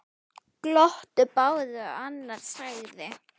Glottu báðir og annar sagði